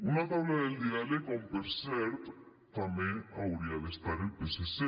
una taula del diàleg on per cert també hauria d’estar el psc